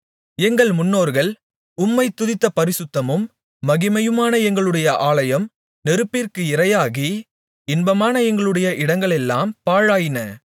எங்கள் முன்னோர்கள் உம்மைத் துதித்த பரிசுத்தமும் மகிமையுமான எங்களுடைய ஆலயம் நெருப்பிற்கு இரையாகி இன்பமான எங்களுடைய இடங்களெல்லாம் பாழாயின